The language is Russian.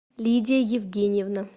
лидия евгеньевна